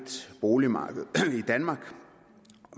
boligmarked i danmark